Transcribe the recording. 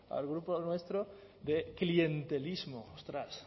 al grupo nuestro de clientelismo ostras